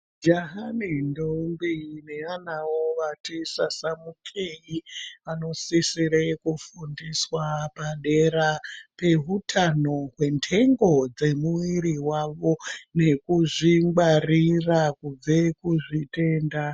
Jaha nendongwe neanawo vatesa sasamukeyi anosesere kufundiswa padera pehutano pendengo dzemuviri wavo nekuzvingwarira kubve kuzvitenda